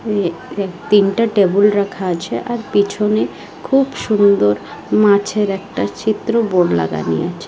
তিনটা টেবিল রাখা আছে আর পেছনে খুব সুন্দর মাছের একটা চিত্র বোর্ড লাগানি আছে।